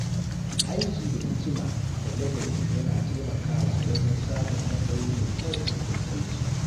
Aiki da hikima da ladabi yana taimakawa wajen samun matsayi mai kyau a wurin aiki.